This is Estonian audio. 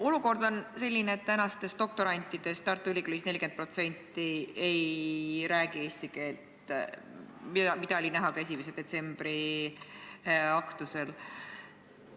Olukord on selline, et tänastest doktorantidest Tartu Ülikoolis 40% ei räägi eesti keelt, mida oli näha ka 1. detsembri aktusel.